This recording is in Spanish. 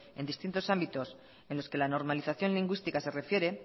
en distintos ámbitos en los que la normalización lingüística se refiere